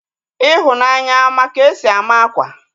Ifunanya a ma ka-esi ama akwa?